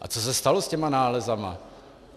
A co se stalo s těmi nálezy?